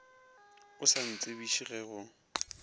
o sa ntsebiše ge go